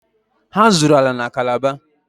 Ha zụrụ ala na Calabar.